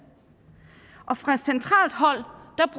og fra centralt hold